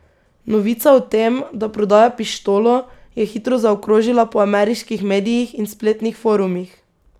Novica o tem, da prodaja pištolo, je hitro zaokrožila po ameriških medijih in spletnih forumih.